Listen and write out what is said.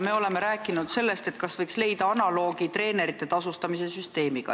Me oleme rääkinud, kas võiks kehtestada analoogse süsteemi, mille järgi tasustatakse treenereid.